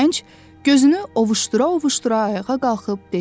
Gənc gözünü ovuşdura-ovuşdura ayağa qalxıb dedi: